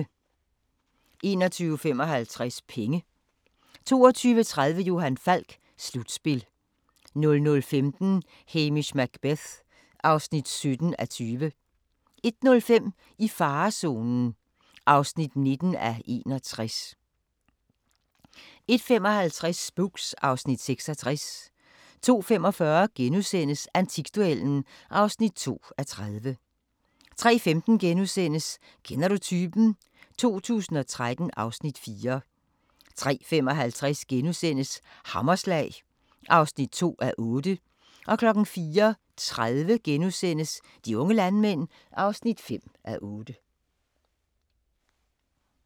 21:55: Penge 22:30: Johan Falk: Slutspil 00:15: Hamish Macbeth (17:20) 01:05: I farezonen (19:61) 01:55: Spooks (Afs. 66) 02:45: Antikduellen (2:30)* 03:15: Kender du typen? 2013 (Afs. 4)* 03:55: Hammerslag (2:8)* 04:30: De unge landmænd (5:8)*